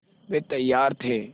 वे तैयार थे